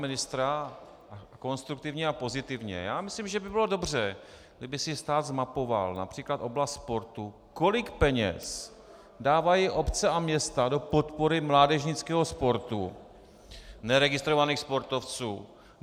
Myslím, že by bylo dobře, kdyby si stát zmapoval například oblast sportu, kolik peněz dávají obce a města do podpory mládežnického sportu, neregistrovaných sportovců.